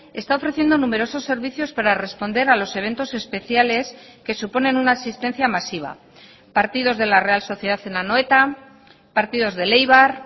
está ofreciendo numerosos servicios para responder a los eventos especiales que suponen una asistencia masiva partidos de la real sociedad en anoeta partidos del eibar